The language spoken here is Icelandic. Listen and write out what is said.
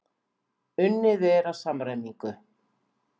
Unnið er að samræmingu.